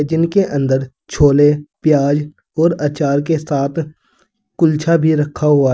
जिनके अंदर छोले प्याज और अचार के साथ कुलछा भी रखा हुआ है।